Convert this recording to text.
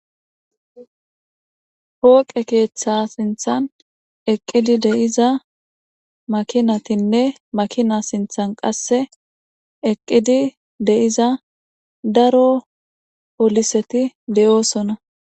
poqqe keththa sinththan eqqidi dizza makinatinne makina sinththan qase eqqidi de'iza daro polliseti de'ossona.